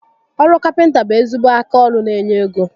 Oru Kapịnta bụ ezigbo aka ọrụ n'enye égo